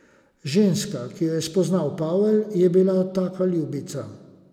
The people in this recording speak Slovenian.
Ženska, ki jo je spoznal Pavel, je bila taka ljubica.